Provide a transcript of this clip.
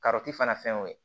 fana fɛn y'o ye